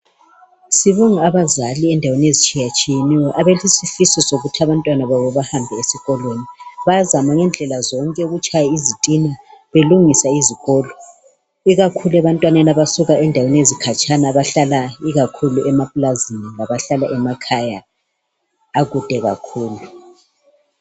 sibonga abazali endaweni ezitshiyetshiyeneyo abalesifiso sokuthi abantwana babo bahambe ezikolweni bayazama ngendlela zonke ukutshaya izitina belungisa izikolo ikakhulu ebantwaneni abasuka endaweni ezikhatshana abahlala ikakhulu emaplazini labahlala emakhaya akude kakhulu